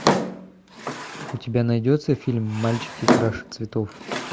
у тебя найдется фильм мальчики краше цветов